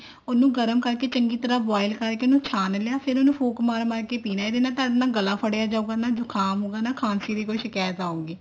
ਉਹਨੂੰ ਗਰਮ ਕਰਕੇ ਚੰਗੀ ਤਰ੍ਹਾਂ boil ਕਰਕੇ ਉਹਨੂੰ ਛਾਣ ਲਿਆ ਫ਼ੇਰ ਉਹਨੂੰ ਫੂਕ ਮਾਰ ਮਾਰ ਕੇ ਪੀਣਾ ਇਹਦੇ ਨਾਲ ਤੁਹਾਡਾ ਨਾ ਗਲਾ ਫੜਿਆ ਜਾਉਗਾ ਨਾ ਜੁਖਾਮ ਹੋਊਗਾ ਨਾ ਖਾਂਸੀ ਦੀ ਕੋਈ ਸ਼ਿਕਾਇਤ ਆਉਗਾ